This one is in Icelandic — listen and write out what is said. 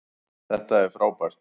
Þetta er frábært